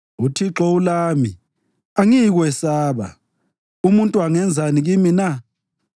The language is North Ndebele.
UThixo ulami, angiyikwesaba. Umuntu angenzani kimi na?